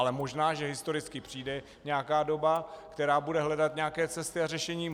Ale možná, že historicky přijde nějaká doba, která bude hledat nějaké cesty a řešení.